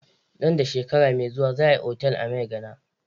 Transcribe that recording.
Nan da shekara mai zuwa za a yi otal a Maigana.